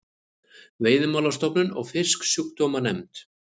Veiðimálastofnun og Fisksjúkdómanefnd.